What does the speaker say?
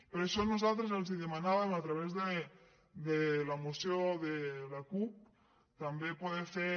per això nosaltres els demanàvem a través de la moció de la cup també poder fer